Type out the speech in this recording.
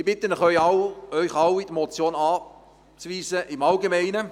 Ich bitte Sie im Allgemeinen, diese Motion abzulehnen.